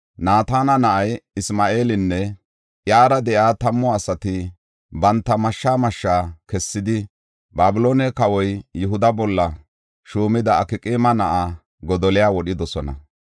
Naatana na7ay Isma7eelinne iyara de7iya tammu asati banta mashshaa mashshaa kessidi, Babiloone kawoy Yihuda bolla shuumida Akqaama na7aa Godoliya wodhidosona.